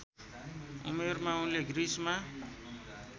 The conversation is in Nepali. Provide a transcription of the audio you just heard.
उमेरमा उनले ग्रिसमा